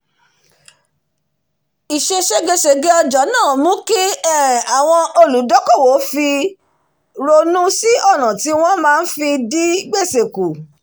ìse ségesège ọjà máá um mú kí àwọn olùdókòwò ronú sí ọ̀na tí wọn máa fi dín gbèsè kù kù